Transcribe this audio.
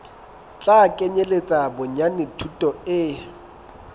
tla kenyeletsa bonyane thuto e